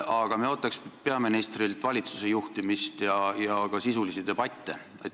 Aga meie ootaks peaministrilt valitsuse juhtimist ja ka sisulisi debatte.